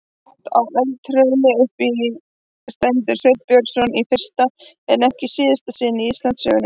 Hátt á eldhrauni uppi stendur Sveinn Björnsson í fyrsta en ekki síðasta sinn í Íslandssögunni.